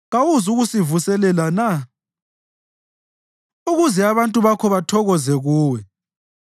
Kawuzukusivuselela na, ukuze abantu bakho bathokoze kuwe?